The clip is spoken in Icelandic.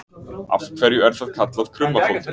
Af hverju er það kallað krummafótur?